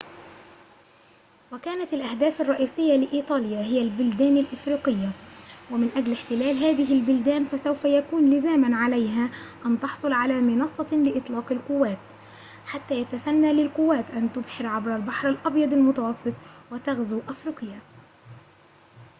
وكانت الأهداف الرئيسية لإيطاليا هي البلدان الأفريقية ومن أجل احتلال هذه البلدان فسوف يكون لزاماً عليها أن تحصل على منصة لإطلاق القوات حتى يتسنى للقوات أن تبحر عبر البحر الأبيض المتوسط وتغزو أفريقيا